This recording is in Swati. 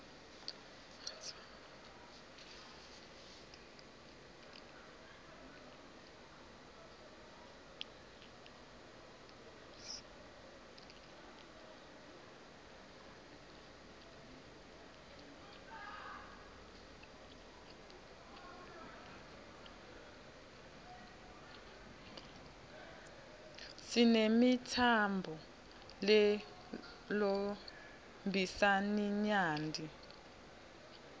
sinemitsamb lelcmbisaninyati